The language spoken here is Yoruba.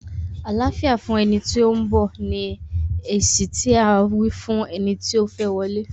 Àláfíà fún ẹni tí ó ń bọ̀! ni èsì tí à á fún eni ti ó fẹ́ wọlé.